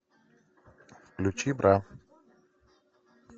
включи бра